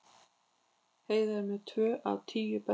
Heiðar með tvö af tíu bestu